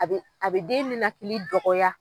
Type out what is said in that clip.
A bɛ a bɛ den nenakili dɔgɔya.